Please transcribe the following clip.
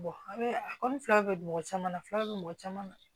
a bɛ a kɔni fila bɛ mɔgɔ caman na filaw bɛ mɔgɔ caman na